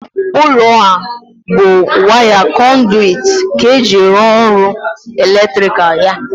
Ụlọ ahụ bụ waya kọnduwit ka eji rụọ ọrụ eletrikal ya.